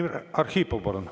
Vladimir Arhipov, palun!